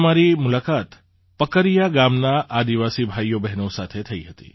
ત્યાં મારીમુલાકાત પકરિયા ગામનાં આદિવાસી ભાઈઓબહેનો સાથે થઈ હતી